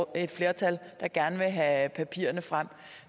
et flertal der gerne vil have papirerne frem